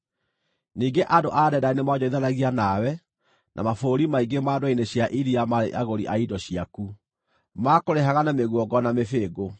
“ ‘Ningĩ andũ a Dedani nĩmoonjorithanagia nawe, na mabũrũri maingĩ ma ndwere-inĩ cia iria maarĩ agũri a indo ciaku; maakũrĩhaga na mĩguongo na mĩbĩngũ.